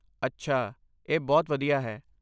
ਅੱਛਾ, ਇਹ ਬਹੁਤ ਵਧੀਆ ਹੈ।